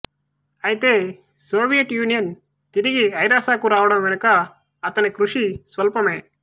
ఐతే Soviet Union తిరిగి ఐరాసకు రావడం వెనుక అతని కృషి స్వల్పమే